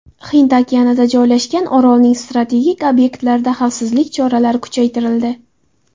Hind okeanida joylashgan orolning strategik obyektlarida xavfsizlik choralari kuchaytirildi.